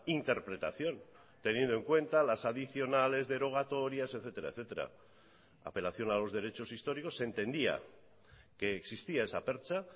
interpretación teniendo en cuenta las adicionales derogatorias etcétera etcétera apelación a los derechos históricos se entendía que existía esa percha